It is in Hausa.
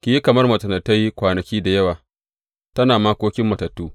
Ki yi kamar macen da ta yi kwanaki da yawa, tana makokin matattu.